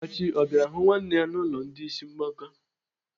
Achị ọ bịara hụ nwanne ya n'ụlọ ndị ịsị mgbaka?